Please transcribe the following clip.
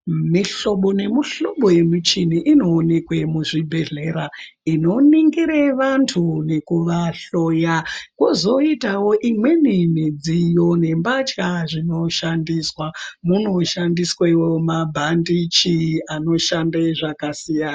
Mihlobo nemihlobo yemichini inoonekwe muzvibhedhlera. Inoningire vantu nekuvahloya kozoitavo imweni midziyo nembatya zvinoshandiswa. Munoshandiswevo mabhandichi anoshande zvakasiyana.